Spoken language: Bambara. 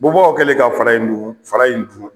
Bubagaw kɛlen ka fara in dun fara in juu